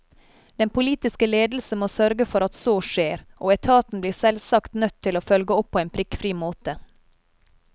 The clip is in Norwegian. Den politiske ledelse må sørge for at så skjer, og etaten blir selvsagt nødt til å følge opp på en prikkfri måte.